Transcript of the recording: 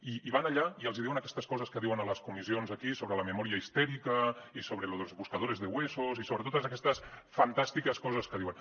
i van allà i els hi diuen aquestes coses que diuen a les comissions aquí sobre la memoria histérica i sobre los buscadores de huesos i sobre totes aquestes fantàstiques coses que diuen